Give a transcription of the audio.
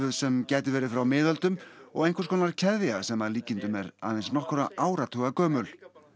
sem gæti verið frá miðöldum og einhvers konar keðja sem að líkindum er aðeins nokkurra áratuga gömul